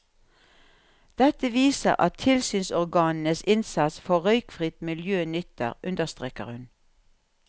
Dette viser at tilsynsorganenes innsats for røykfritt miljø nytter, understreker hun.